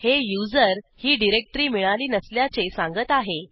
हे user ही directory मिळाली नसल्याचे सांगत आहे